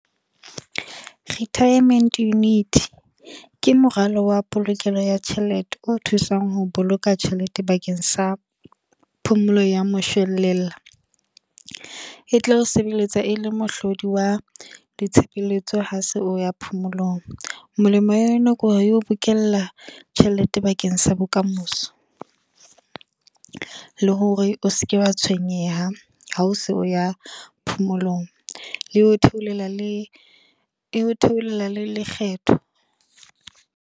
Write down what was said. Retirement unity, ke moralo wa polokelo ya tjhelete. O thusang ho boloka tjhelete bakeng sa phomolo ya moshelella. E tla o sebeletsa e le mohlodi wa ditshebeletso ha se o ya phomolong. Molemo wa yona ke hore, eo bokella tjhelete bakeng sa bokamoso. Le hore o seke wa tshwenyeha, ha o se o ya phomolong. E o theolela le, e o theolela le lekgetho.